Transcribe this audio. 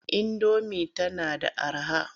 Indomi tana da araha.